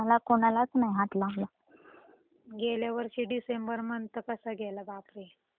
गेल्या वर्षी December month कसा गेला बापरे हम्म अवघड च आहे